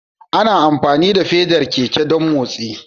Ana amfani da fedar keke don motsi